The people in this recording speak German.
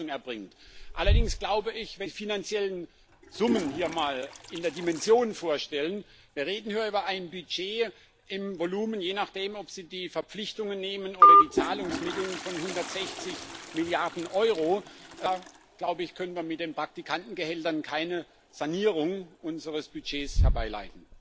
Wenn Sie sich allerdings die finanziellen Summen hier mal in der Dimension vorstellen wir reden hier über ein Budget im Volumen je nachdem, ob Sie die Verpflichtungen nehmen oder die Zahlungsmittel von 160 Mrd. EUR da, glaube ich, können wir mit den Praktikantengehältern keine Sanierung unseres Budgets herbeiführen.